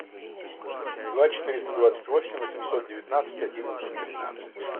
два четыреста двадцать восемь восемьсот девятнадцать одиннадцать тринадцать